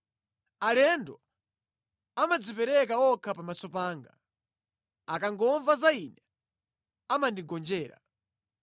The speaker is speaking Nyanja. Alendo amadzipereka okha pamaso panga; akangomva za ine, amandigonjera.